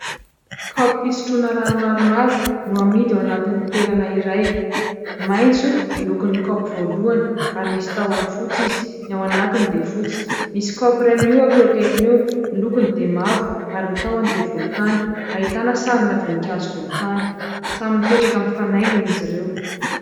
Kaopy fisotroana rano maromaro no amidy ao anatin'ny toerana iray. Maitso ny lokon'ny kaopy voalohany ary misy tahony fotsy izy, ny ao anatiny dia fotsy. Misy kaopy iray mihohaka eo akaikiny eo. Ny lokony dia mavo ary ny tahony dia volontany, ahitana sarina voninkazo volontany. Samy mipetraka mifanaingina izy ireo.